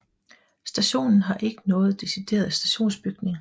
Stationen har ikke nogen decideret stationsbygning